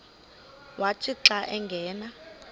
wathi xa angena